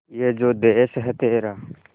ये जो देस है तेरा